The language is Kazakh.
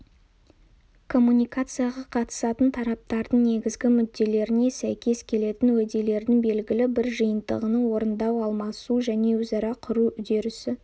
коммуникацияға қатысатын тараптардың негізгі мүдделеріне сәйкес келетін уәделердің белгілі бір жиынтығын орындау алмасу және өзара құру үдерісі